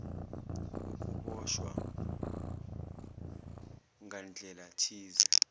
ukuboshwa ngandlela thize